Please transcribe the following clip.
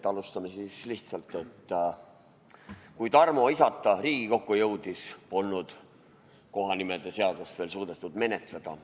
Alustame siis lihtsalt: "Kui Tarmo isata Riigikokku jõudis, polnud kohanimede seadust veel suudetud menetleda.